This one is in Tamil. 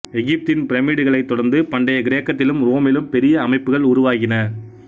எகிப்தின் பிரமிட்டுக்களைத் தொடர்ந்து பண்டைய கிரேக்கத்திலும் ரோமிலும் பெரிய அமைப்புக்கள் உருவாகின